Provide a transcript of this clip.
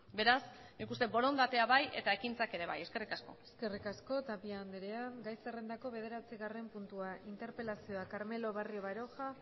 beraz nik uste borondatea bai eta ekintzak ere bai eskerrik asko eskerrik asko tapia andrea gai zerrendako bederatzigarren puntua interpelazioa carmelo barrio baroja